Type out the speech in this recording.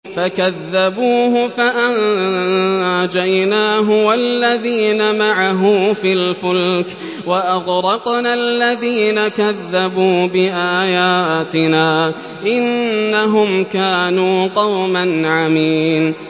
فَكَذَّبُوهُ فَأَنجَيْنَاهُ وَالَّذِينَ مَعَهُ فِي الْفُلْكِ وَأَغْرَقْنَا الَّذِينَ كَذَّبُوا بِآيَاتِنَا ۚ إِنَّهُمْ كَانُوا قَوْمًا عَمِينَ